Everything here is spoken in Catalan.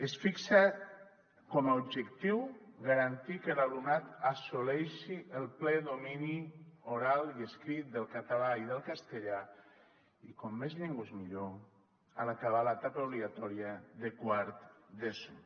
es fixa com a objectiu garantir que l’alumnat assoleixi el ple domini oral i escrit del català i del castellà i com més llengües millor en acabar l’etapa obligatòria de quart d’eso